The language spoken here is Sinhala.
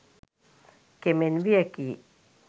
කෙමෙන් වියැකී